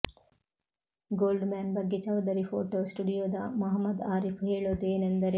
gold man ಬಗ್ಗೆ Chaudhary photo ಸ್ಟುಡಿಯೋದ ಮಹಮ್ಮದ್ ಆರೀಫ್ ಹೇಳೋದು ಏನೆಂದರೆ